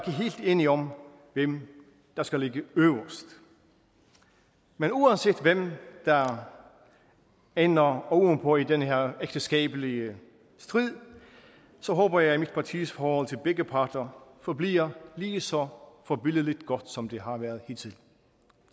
helt enige om hvem der skal ligge øverst men uanset hvem der ender ovenpå i denne ægteskabelige strid så håber jeg at mit partis forhold til begge parter forbliver lige så forbilledligt godt som det har været hidtil